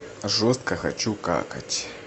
жестко хочу какать